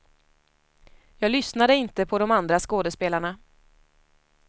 Jag lyssnade inte på de andra skådespelarna.